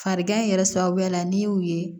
Farigan in yɛrɛ sababu la n'i y'u ye